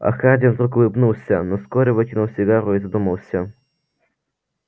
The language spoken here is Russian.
а хардин вдруг улыбнулся но вскоре выкинул сигару и задумался